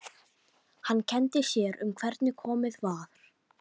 Hann kenndi sér um hvernig komið var.